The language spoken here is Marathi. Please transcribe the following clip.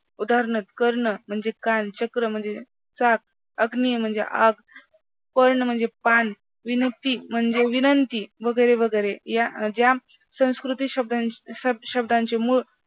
उदाहरणार्थ कर्ण म्हणजे कान, चक्र म्हणजे चाक, अग्नी म्हणजे आग, पर्ण म्हणजे पान, विनुक्ती म्हणजे विनंती, वगैरे वगैरे या ज्या संस्कृती शब्दांचे मूळ